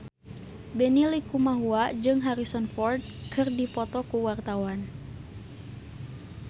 Benny Likumahua jeung Harrison Ford keur dipoto ku wartawan